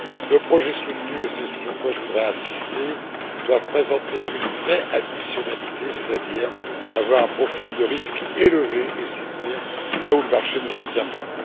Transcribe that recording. Les projets soutenus, et c'est sur quoi je voudrais insister, doivent présenter une vraie additionnalité, c'est à dire avoir un profil de risque élevé et soutenir là où le marché ne soutient pas.